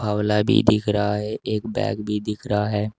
आंवला भी दिख रहा है एक बैग भी दिख रहा है।